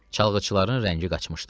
Çalğıçıların rəngi qaçmışdı.